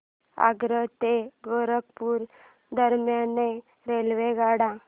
आग्रा ते गोरखपुर दरम्यान रेल्वेगाड्या